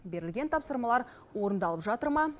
берілген тапсырмалар орындалып жатыр ма